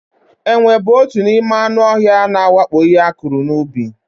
Enwe bụ otu n'ime anụ ọhịa ndị na-awakpo ihe akụrụ n'ubi.